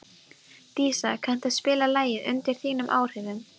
Dísa, kanntu að spila lagið „Undir þínum áhrifum“?